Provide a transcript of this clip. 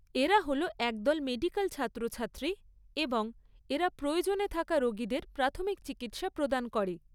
এরা হল এক দল মেডিকাল ছাত্রছাত্রী এবং এরা প্রয়োজনে থাকা রোগীদের প্রাথমিক চিকিৎসা প্রদান করে।